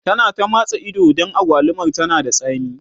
ta na ta matsa Ido Dan agwalumar tana da tsami